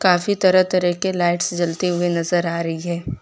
काफी तरह तरह के लाइट्स से जलते हुए नजर आ रही है।